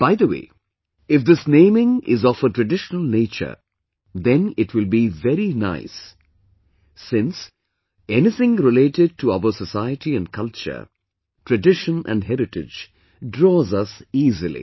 By the way, if this naming is of traditional nature, then it will be very nice since, anything related to our society and culture, tradition and heritage, draws us easily